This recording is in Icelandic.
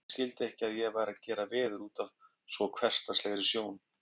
Erik skildi ekki að ég væri að gera veður útaf svo hversdagslegri sjón.